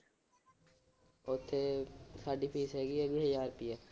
ਉਥੇ ਸਾਡੀ ਫੀਸ ਹੈਗੀ ਏ ਵੀਹ ਹਜਾਰ ਰੁਪਇਆ।